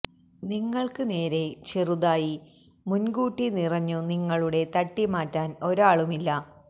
നിങ്ങൾക്ക് നേരെ ചെറുതായി മുൻകൂട്ടി നിറഞ്ഞു നിങ്ങളുടെ തട്ടിമാറ്റാൻ ഒരാളുമില്ല